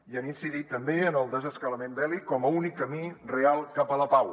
i han incidit també en el desescalament bèl·lic com a únic camí real cap a la pau